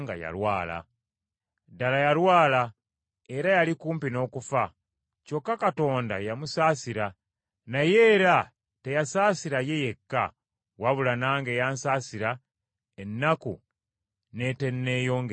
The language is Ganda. Ddala yalwala era yali kumpi n’okufa. Kyokka Katonda yamusaasira, naye era teyasaasira ye yekka, wabula nange yansaasira ennaku n’eteenneeyongera.